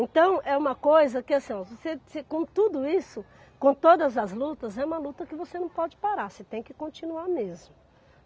Então, é uma coisa que, assim, ó, você você com tudo isso, com todas as lutas, é uma luta que você não pode parar, você tem que continuar mesmo.